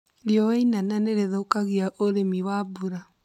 Riũa inene nĩrĩthũkagia ũrĩmi wa mbura